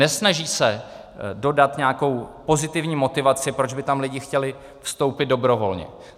Nesnaží se dodat nějakou pozitivní motivaci, proč by tam lidi chtěli vstoupit dobrovolně.